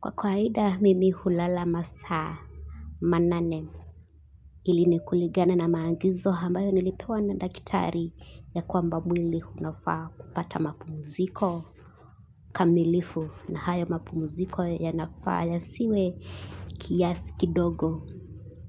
Kwa kawaida mimi hulala masaa manane hili ni kulingana na maagizo ambayo nilipewa na daktari ya kwamba mwili unafaa kupata mapumziko kamilifu na hayo mapumziko yanafaa yasiwe kiasi kidogo